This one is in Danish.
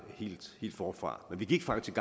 helt forfra men vi gik faktisk